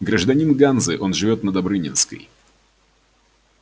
гражданин ганзы но живёт на добрынинской